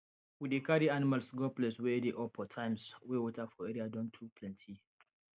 we dey carry animals go place wey dey up for times wey water for area don too plenty